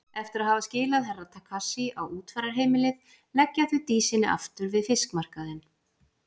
Eftir að hafa skilað Herra Takashi á útfararheimilið leggja þau Dísinni aftur við fiskmarkaðinn.